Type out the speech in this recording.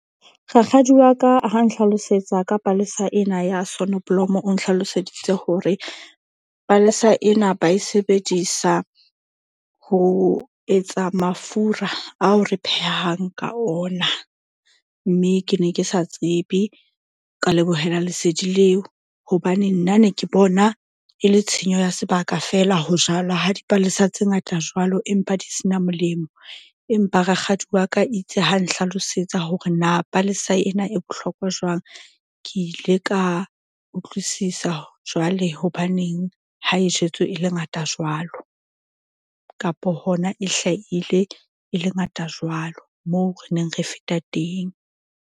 Rakgadi wa ka ha nhlalosetsa ka palesa ena ya sonneblom o nhlaloseditse hore palesa ena ba e sebedisa ho etsa mafura ao re phehang ka ona. Mme ke ne ke sa tsebe ka lebohela lesedi leo hobane nna ne ke bona e le tshenyo ya sebaka fela. Ho jalwa ha dipalesa tse ngata jwalo empa di sena molemo. Empa rakgadi wa ka itse ha nhlalosetsa hore na palesa ena e bohlokwa jwang. Ke ile ka utlwisisa jwale hobaneng ha e jwetswe e le ngata jwalo kapo hona e hlahile e le ngata jwalo, moo re neng re feta teng.